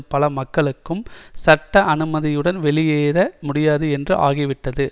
பல மக்களுக்கும் சட்ட அனுமதியுடன் வெளியேற முடியாது என்று ஆகிவிட்டது